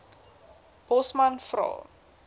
bosman vra